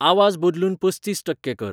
आवाज बदलून पस्तीस टक्के कर